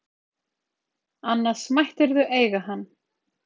Annars mættirðu eiga hann.